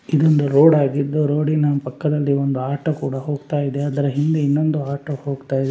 ಇದು ಒಂದು ರೋಡ್‌ ಆಗಿದ್ದು ರೋಡಿನ ಪಕ್ಕದಲ್ಲಿ ಒಂದು ಆಟೋ ಕೂಡ ಹೋಗ್ತಾ ಇದೆ ಅದರ ಹಿಂದೆ ಇನ್ನೊಂದು ಆಟೋ ಹೋಗ್ತಾ ಇದೆ.